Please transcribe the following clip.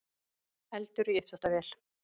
Eldur í uppþvottavél